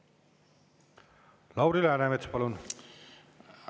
Lauri Läänemets, palun!